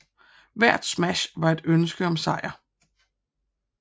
Hvert smash var et ønske om sejr